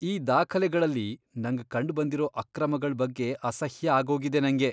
ಈ ದಾಖಲೆಗಳಲ್ಲಿ ನಂಗ್ ಕಂಡ್ಬಂದಿರೋ ಅಕ್ರಮಗಳ್ ಬಗ್ಗೆ ಅಸಹ್ಯ ಆಗೋಗಿದೆ ನಂಗೆ.